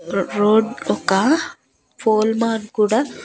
రో రోడ్ ఒక pole man కూడా--